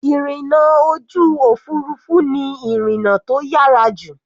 Ìrìna ojú òfurufú ni ìrìna tó yára jù.